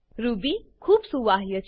Ruby ખૂબ સુવાહ્ય છે